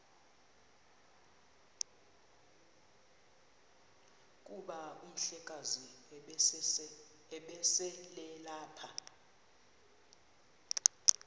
kuba umhlekazi ubeselelapha